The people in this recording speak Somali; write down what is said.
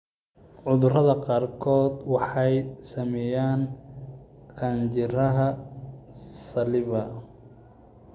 Cudurada qaarkood waxay saameeyaan qanjidhada salivary.